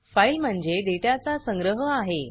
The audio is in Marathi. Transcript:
फाइल म्हणजे डेटा चा संग्रह आहे